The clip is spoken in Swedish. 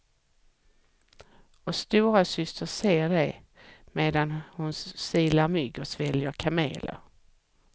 Och storasyster ser dig medan hon silar mygg och sväljer kameler.